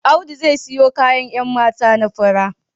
Audu zai siyo kayan 'yan mata na fura